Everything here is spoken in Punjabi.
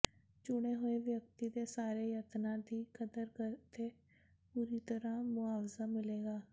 ਚੁਣੇ ਹੋਏ ਵਿਅਕਤੀ ਦੇ ਸਾਰੇ ਯਤਨਾਂ ਦੀ ਕਦਰ ਅਤੇ ਪੂਰੀ ਤਰ੍ਹਾਂ ਮੁਆਵਜ਼ਾ ਮਿਲੇਗਾ